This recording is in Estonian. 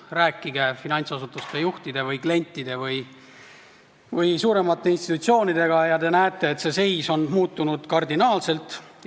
Rääkige finantsasutuste juhtide või klientide või suuremate institutsioonidega ja te näete, et see seis on kardinaalselt muutunud.